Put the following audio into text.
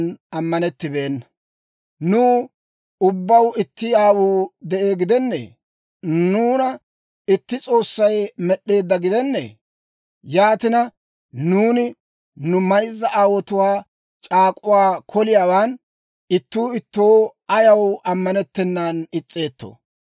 Nuw ubbaw itti aawuu de'ee gidenneeyye? Nuuna itti S'oossay med'd'eedda gidenneeyye? Yaatina, nuuni nu mayzza aawotuwaa c'aak'uwaa koliyaawan ittuu ittoo ayaw ammanettennan is's'eettoo?